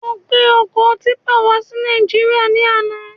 Mo gbé ọkọ típpà wá sí Nàìjíríà ní àna